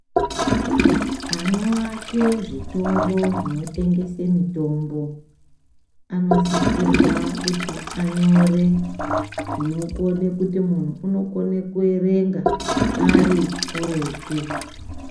Ano ake zvitoro zvino tengese mitombo, ano sisirwa kuti anyore zvino kone kuti munhu uno kone kuerenga ari kuretu.